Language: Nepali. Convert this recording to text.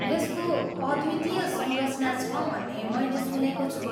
यसको अद्वितीय संरचना छ भन्ने मैले सुनेको छु।